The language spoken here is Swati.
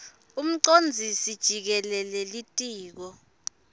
umcondzisi jikelele litiko